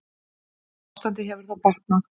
Ástandið hefur þó batnað.